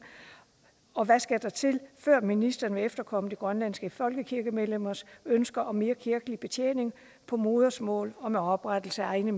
og hvad skal der til før ministeren vil efterkomme de grønlandske folkekirkemedlemmers ønsker om mere kirkelig betjening på modersmål og oprettelse af egne